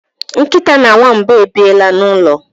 nkịta na nwamba ebiela n'ụlọ